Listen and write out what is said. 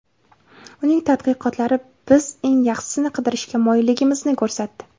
Uning tadqiqotlari biz eng yaxshisini qidirishga moyilligimizni ko‘rsatdi.